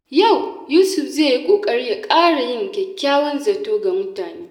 Yau, Yusuf zai yi ƙoƙari ya ƙara yin kyakkyawan zato ga mutane.